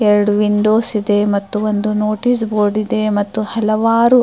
ಎರಡು ವಿಂಡೋಸ್ ಇದೆ ಮತ್ತು ಒಂದು ನೋಟೀಸ್ ಬೋರ್ಡ್ ಇದೆ ಮತ್ತು ಹಲವಾರು --